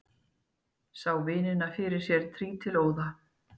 Sá vinina fyrir sér trítilóða.